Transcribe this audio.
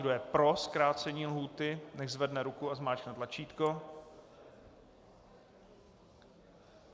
Kdo je pro zkrácení lhůty, nechť zvedne ruku a zmáčkne tlačítko.